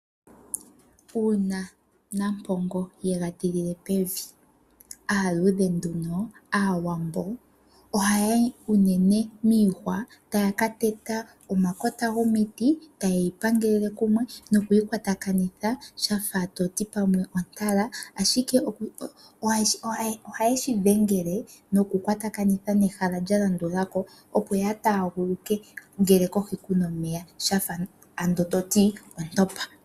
Uuna Nampongo ye ga tilile pevi, aaluudhe/Aawambo ohaya yi unene miihwa taya ka teta omakota gomiti taye yi pangelele kumwe nokuyi kwatakanitha sha fa to ti pamwe ontala, ashike ohaye shi dhengele nokukwatakanitha nehala lya landula ko opo ya taaguluke ngele kohi ku na omeya, sha fa to ti ontopa.